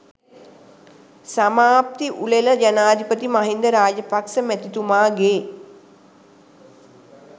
සමාප්ති උළෙල ජනාධිපති මහින්ද රාජපක්ෂ මැතිතුමාගේ